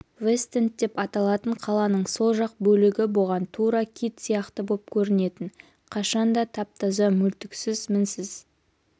вестэнд деп аталатын қаланың сол жақ бөлігі бұған тура кит сияқты боп көрінетін қашан да тап-таза мүлтіксіз мінсіз